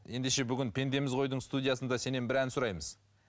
ендеше бүгін пендеміз ғой дың студиясында сенен бір ән сұраймыз